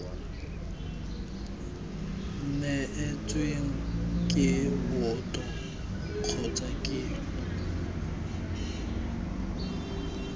neetsweng ke boto kgotsa ke